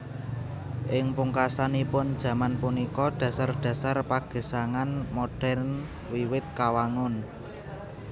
Ing pungkasanipun jaman punika dhasar dhasar pagesangan modern wiwit kawangun